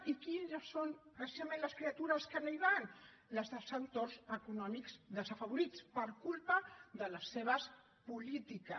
i quines són precisament les criatures que no hi van les dels entorns econòmics desafavorits per culpa de les seves polítiques